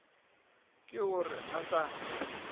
ke o re a sa